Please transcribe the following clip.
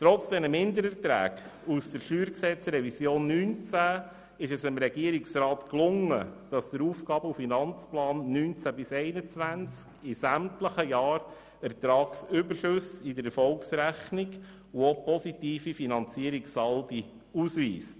Trotz dieser Mindererträge aus der StG-Revision 2019 ist es dem Regierungsrat gelungen, dass der AFP 2019–2021 in sämtlichen Jahren Ertragsüberschüsse in der Erfolgsrechnung und auch positive Finanzierungssaldi ausweist.